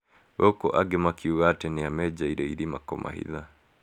Gũkũ angĩ makiuga atĩ nĩ amenjeire irima kũmahitha.